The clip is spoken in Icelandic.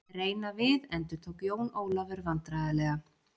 Reyna við endurtók Jón Ólafur vandræðalega.